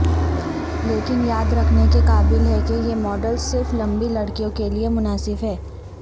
لیکن یاد رکھنے کے قابل ہے کہ یہ ماڈل صرف لمبی لڑکیوں کیلئے مناسب ہے